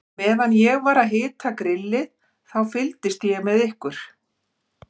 Meðan ég var að hita grillið, þá fylgdist ég með ykkur.